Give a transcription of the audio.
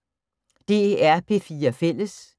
DR P4 Fælles